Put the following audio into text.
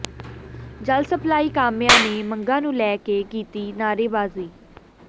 ਜਲ ਸਪਲਾਈ ਕਾਮਿਆਂ ਨੇ ਮੰਗਾਂ ਨੂੰ ਲੈ ਕੇ ਕੀਤੀ ਨਾਅਰੇਬਾਜ਼ੀ